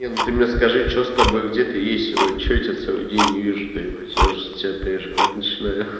ты мне скажи что с тобой где-то есть что я тебя целый день не вижу твою мать я уже за тебя переживать начинаю